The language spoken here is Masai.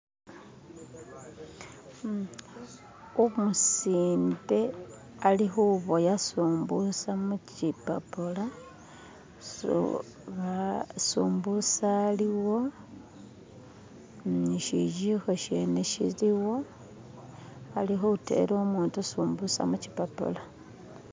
Umusinde ali kuboya sumbusa mu kipapula, simbusa aliwo, ni kijiko kyene kiliwo, ali kuteela umuutu sumbusa mu kipapula.